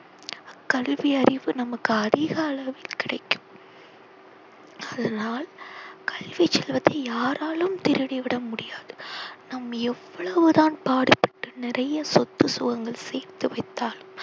கல்வி அறிவு நமக்கு அதிக அளவில் கிடைக்கும். அதனால் கல்வி செல்வத்தை யாராலும் திருடி விட முடியாது. நாம் எவ்வளவு தான் பாடுபட்டு நிறைய சொத்து சுகங்கள் சேர்த்து வைத்தாலும்